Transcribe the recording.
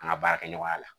An ka baarakɛɲɔgɔnya la